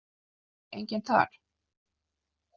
Enginn þar?